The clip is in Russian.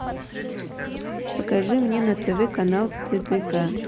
покажи мне на тв канал тдк